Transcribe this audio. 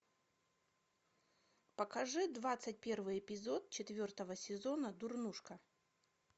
покажи двадцать первый эпизод четвертого сезона дурнушка